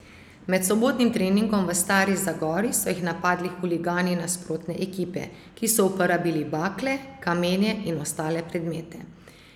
Med sobotnim treningom v Stari Zagori so jih napadli huligani nasprotne ekipe, ki so uporabili bakle, kamenje in ostale predmete.